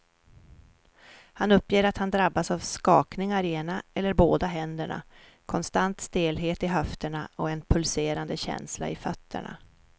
Han uppger att han drabbas av skakningar i ena eller båda händerna, konstant stelhet i höfterna och en pulserande känsla i fötterna.